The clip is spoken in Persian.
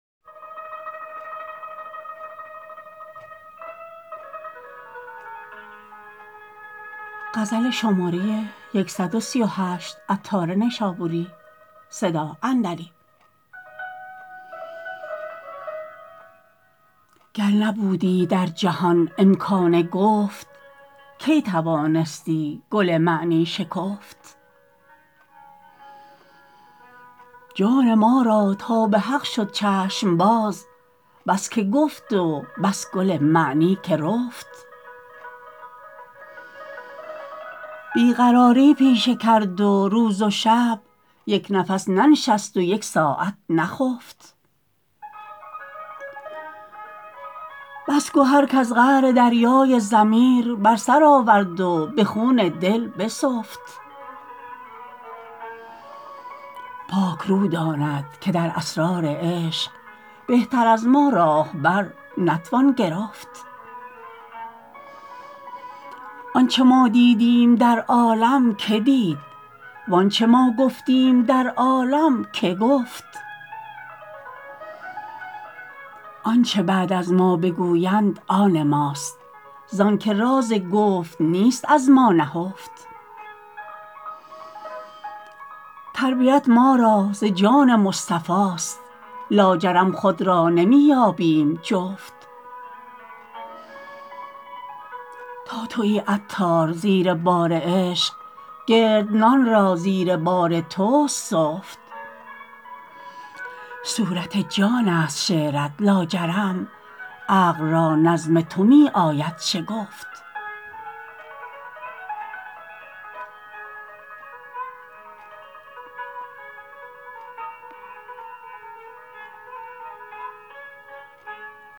گر نبودی در جهان امکان گفت کی توانستی گل معنی شکفت جان ما را تا به حق شد چشم باز بس که گفت و بس گل معنی که رفت بی قراری پیشه کرد و روز و شب یک نفس ننشست و یک ساعت نخفت بس گهر کز قعر دریای ضمیر بر سر آورد و به خون دل بسفت پاک رو داند که در اسرار عشق بهتر از ما راهبر نتوان گرفت آنچه ما دیدیم در عالم که دید وآنچه ما گفتیم در عالم که گفت آنچه بعد از ما بگویند آن ماست زانکه راز گفت نیست از ما نهفت تربیت ما را ز جان مصطفاست لاجرم خود را نمی یابیم جفت تا تویی عطار زیر بار عشق گردنان را زیر بار توست سفت صورت جان است شعرت لاجرم عقل را نظم تو می آید شگفت